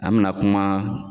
An mina kuma.